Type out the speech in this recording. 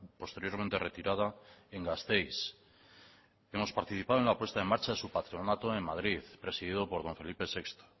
posteriormente retirada en gasteiz hemos participado en la puesta en marcha de su patronato en madrid presidido por don felipe sexto